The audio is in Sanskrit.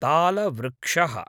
तालवृक्षः